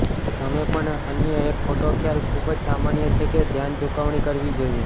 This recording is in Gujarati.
તમે પણ અન્ય એક ખોટો ખ્યાલ ખૂબ જ સામાન્ય છે કે ધ્યાન ચૂકવણી કરવી જોઇએ